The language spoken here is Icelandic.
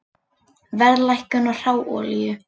Verðlækkun á hráolíu